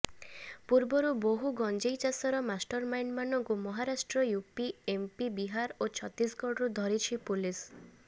ପୂର୍ବରୁ ବହୁ ଗଞ୍ଜେଇ ଚାଷର ମାଷ୍ଟରମାଇଣ୍ଡମାନଙ୍କୁ ମହାରାଷ୍ଟ୍ର ୟୁପି ଏମପି ବିହାର ଓ ଛତିଶଗ଼ଡରୁ ଧରିଛି ପୋଲିସ୍